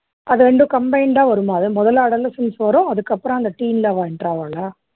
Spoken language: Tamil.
அது ரெண்டும் combined ஆ வருமா அது முதல்ல adolescence வரும் அதுக்கு அப்பறம் teen ல அவா enter ஆவாளா